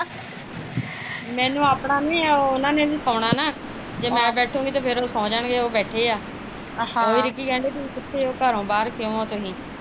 ਮੈਨੂੰ ਆਪਣਾ ਨੀ ਆ ਉਹਨਾਂ ਨੇ ਵੀ ਸੋਣਾ ਨਾ ਜੇ ਮੈਂ ਬੈਠੂਗੀ ਤੇ ਉਹ ਸੋ ਜਾਣਗੇ ਹੁਣ ਉਹ ਬੈਠੇ ਆ ਉਹ ਕਹਿੰਦੇ ਕਿੱਥੇ ਤੁਸੀਂ ਘਰੋਂ ਬਾਹਰ ਕਿਉ ਤੁਸੀਂ